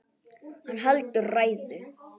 Hann heldur ræðu.